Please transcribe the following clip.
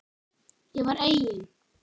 Ég var eigin